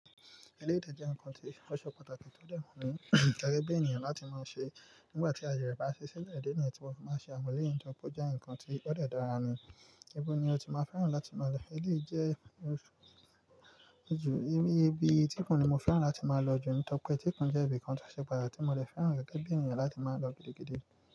Ẹlẹ́dẹ̀ jẹ́ nǹkan tí ó ṣe pàtàkì tó dẹ́mu ni gẹ́gẹ́ bí ènìyàn láti máa ń ṣe. Nígbà tí ayẹyẹ bá ṣí sílẹ̀, èdè ni ẹni tí wọn bá ṣe àmùléyìn tọ́pẹ́ jẹ́ nǹkan tí ó dẹ́ dára ni. Ibo ni o ti máa ń fẹ́ràn láti máa lọ. Eleyi jẹ́ ibi etikan ni mo fẹ́ràn láti máa lọ jù n tọ́pẹ́. Tíkún jẹ́ ibi kan tó ṣe pàtàkì tí mo dẹ fẹ́ràn gẹ́gẹ́ bí ènìyàn láti máa lọ gidigidi.